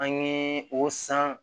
An ye o san